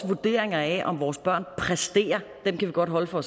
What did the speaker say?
vurderinger af om vores børn præsterer kan vi godt holde for